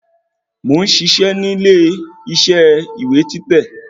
Mo ń ṣiṣẹ́ nílé ìṣe ìwé títẹ̀